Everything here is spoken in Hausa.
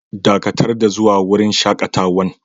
Dakatar da zuwa wurin shakatawan!